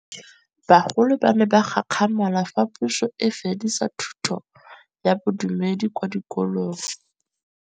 Bagolo ba ne ba gakgamala fa Pusô e fedisa thutô ya Bodumedi kwa dikolong.